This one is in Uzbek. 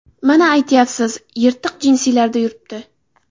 Mana aytyapsiz, yirtiq jinsilarda yuribdi.